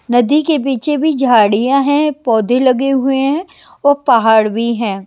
नदी के पीछे भी झाड़ियाँ हैं पौधे लगे हुए हैं और पहाड़ भी हैं।